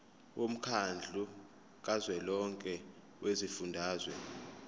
womkhandlu kazwelonke wezifundazwe